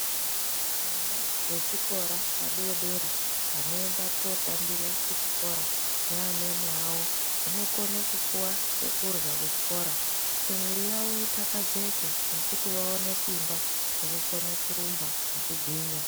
Vana vechikora vadodori vanoenda kunotambira kuchikora neamweni avo anokone kupiwe chekurya kuchikora kuitira kuti mwiri yavo itakazike nekuti vaone simba rekukone kurumba nekugwinya.